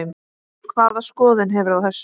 Hvaða skoðun hefurðu á þessu?